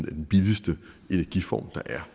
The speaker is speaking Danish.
den billigste energiform der er